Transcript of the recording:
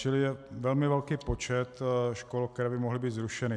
Čili je velmi velký počet škol, které by mohly být zrušeny.